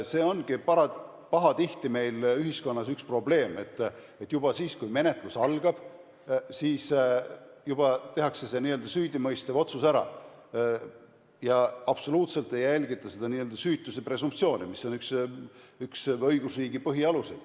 See ongi pahatihti meil ühiskonnas üks probleem, et juba siis, kui menetlus algab, tehakse see n-ö süüdimõistev otsus ära ega järgita üldse süütuse presumptsiooni, mis on üks õigusriigi põhialuseid.